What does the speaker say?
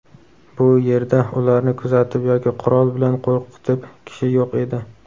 Bu yerda ularni kuzatib yoki qurol bilan qo‘rqitib kishi yo‘q edi.